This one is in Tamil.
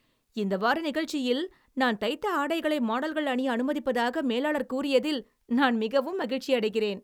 இந்த வார நிகழ்ச்சியில் நான் தைத்த ஆடைகளை மாடல்கள் அணிய அனுமதிப்பதாக மேலாளர் கூறியதில் நான் மிகவும் மகிழ்ச்சியடைகிறேன்.